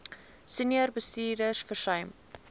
senior bestuurders versuim